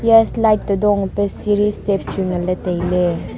ya slide to dong eh pai siri step chu nganlay tailay.